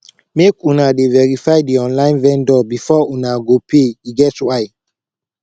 make una dey verify di online vendor before una go pay e get why